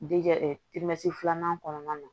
filanan kɔnɔna na